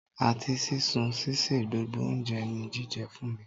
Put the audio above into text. Àti sísun, ṣíṣe, gbogbo oúnjẹ ní jíjẹ fún mi.